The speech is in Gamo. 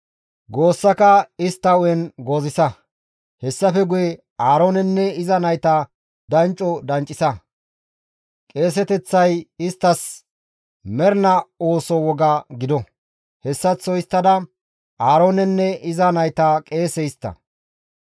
Goossaka istta hu7en goozisa. Hessafe guye Aaroonenne iza nayta dancco danccisa. Qeeseteththay isttas mernaa ooso woga gido; hessaththo histtada Aaroonenne iza nayta qeese histta.